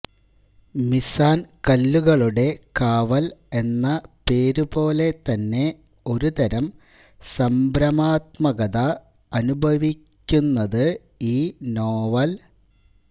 മീസാന്കല്ലുകളുടെ കാവല് എന്ന പേരുപോലെത്തന്നെ ഒരു തരം സംഭ്രമാത്മകത അനു ഭവിപ്പിക്കുന്നത് ഈ നോവല്